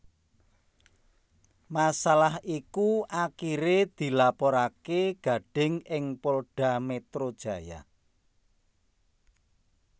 Masalah iku akhiré dilaporaké Gading ing Polda Metro Jaya